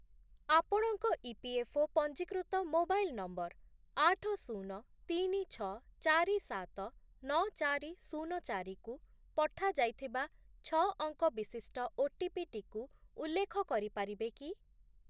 ଆପଣଙ୍କ ଇପିଏଫ୍ଓ ପଞ୍ଜୀକୃତ mobile number ଆଠ, ଶୂନ, ତିନି, ଛଅ, ଚାରି, ସାତ, ନଅ, ଚାରି, ଶୂନ, ଚାରି କୁ ପଠାଯାଇଥିବା ଛଅ ଅଙ୍କ ବିଶିଷ୍ଟ ଓଟିପି ଟିକୁ ଉଲ୍ଲେଖ କରିପାରିବେ କି?